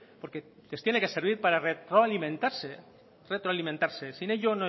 porque les tiene que servir para retroalimentarse sin ello